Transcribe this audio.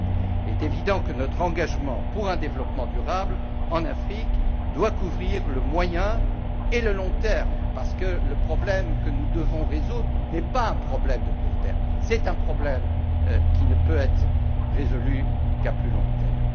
Il est évident que notre engagement pour un développement durable en Afrique doit couvrir le moyen et le long terme, parce que le problème que nous devons résoudre n'est pas un problème de court terme, c'est un problème qui ne peut être résolu qu'à plus long terme.